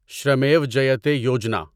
Shramev Jayate Yojana